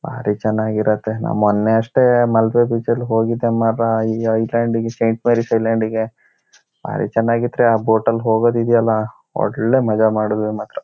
''ಬಾರಿ ಚೆನ್ನಾಗ್ ಇರುತ್ತೆ ನನ್ ಮೊನ್ನೆ ಅಷ್ಟೇ ಮಾಲ್ಪೆ ಬೀಚ್ ನಲ್ಲಿ ಹೋಗಿದ್ದೆ ಮಾರ್ರಾ ಈ ಐ ಲ್ಯಾಂಡ್ ಗೆ ಸೇಂಟ್ ಮೇರಿಸ್ ಐಲ್ಯಾಂಡ್ ಗೆ ಬಾರಿ ಚೆನ್ನಾಗ್ ಇತ್ರಿ. ಆ ಬೋಟ್ ಲ್ ಹೋಗೋದ್ ಇದೆಯಲ್ಲ ಒಳ್ಳೆ ಮಜಾ ಮಾಡಿದ್ವಿ ಮಾತ್ರ.''